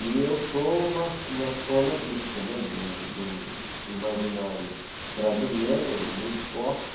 E eu sou uma uma soma disso, né, de um imaginário brasileiro muito forte.